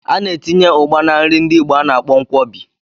A na-etinye Ugba na nri ndi igbo a na-akpọ Nkwobi.